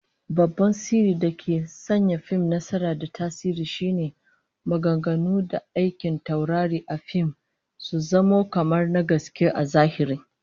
Babban sirrin dake sanya fim nasara da tasiri shine maganganu da aikin taurari a fim su zamo kamar na gaske a zahiri